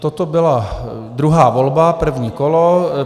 Toto byla druhá volba, první kolo.